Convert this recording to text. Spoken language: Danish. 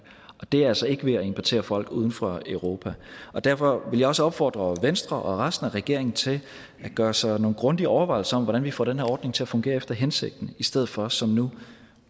og det er altså ikke ved at importere folk uden for europa derfor vil jeg også opfordre venstre og resten af regeringen til at gøre sig nogle grundige overvejelser om hvordan vi får den her ordning til at fungere efter hensigten i stedet for som nu